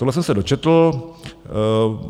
Toto jsem se dočetl.